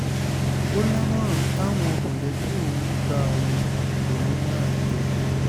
ó ó lámọ̀ràn táwọn mọ̀lẹ́bí òun gba òun lòún máa tẹ̀lé